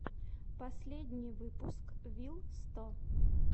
последний выпуск вил сто